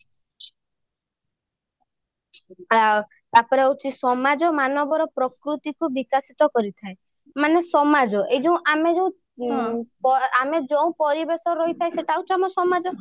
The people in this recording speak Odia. ହଁ ତାପରେ ହଉଛି ସମାଜ ମାନବର ପ୍ରକୃତି କୁ ବିକାଶିତ କରିଥାଏ ମାନେ ସମାଜ ଆମେ ଯୋଉ ଆମେ ଯୋଉ ପରିବେଶରେ ରହି ଥାଉ ସେଇଟା ହଉଛି ଆମ ସମାଜ